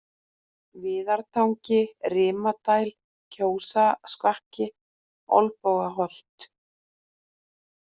Viðartangi, Rimadæl, Kjósasvakki, Olnbogaholt